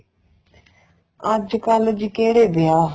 ਅੱਜਕਲ ਜੀ ਕਿਹੜੇ ਵਿਆਹ